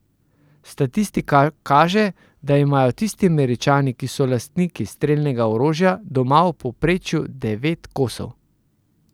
Statistika kaže, da imajo tisti Američani, ki so lastniki strelnega orožja, doma v povprečju devet kosov.